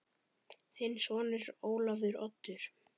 Þinn sonur, Ólafur Oddur.